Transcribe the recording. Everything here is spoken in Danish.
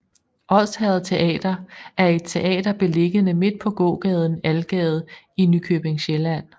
Odsherred Teater er et teater beliggende midt på gågaden Algade i Nykøbing Sjælland